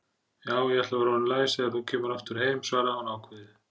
Já, ég ætla að vera orðin læs þegar þú kemur aftur heim, svaraði hún ákveðið.